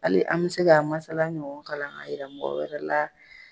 ali an be se k'a masala ɲɔgɔn kalan k'a yira mɔgɔ wɛrɛ la